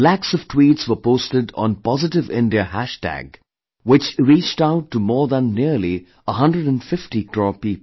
Lakhs of tweets were posted on Positive India hashtag , which reached out to more than nearly 150 crore people